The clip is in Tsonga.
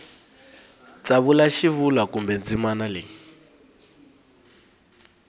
tsavula xivulwa kumbe ndzimana leyi